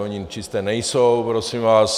Ony čisté nejsou prosím vás.